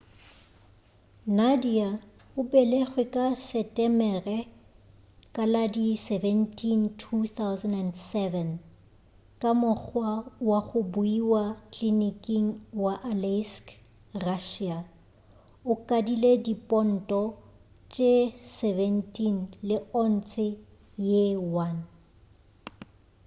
nadia o belegwe ka setemere ka la di 17 2007 ka mokgwa wa go buiwa kliniking ya aleisk russia o kadile diponto tše 17 le ontshe ye 1